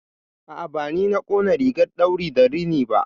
A'a, bani na ƙona rigar ɗauri da rini ba.